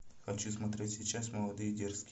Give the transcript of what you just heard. хочу смотреть сейчас молодые дерзкие